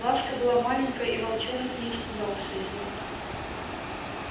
ласка была маленькая и волчонок не испугался её